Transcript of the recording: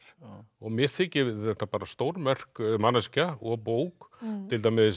og mér þykir þetta bara stórmerk manneskja og bók til dæmis